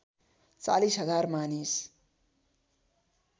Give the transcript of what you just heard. ४० हजार मानिस